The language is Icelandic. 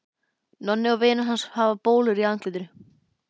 Nonni og vinir hans hafa bólur í andlitinu.